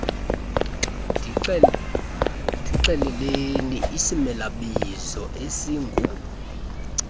ndixeleleni isimelabizo esingu